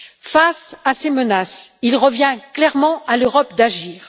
Face à ces menaces, il revient clairement à l'Europe d'agir.